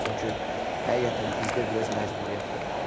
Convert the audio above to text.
çünki həqiqətən bizdə biraz məcburiyyət olmalıdır.